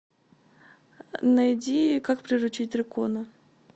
найди как приручить дракона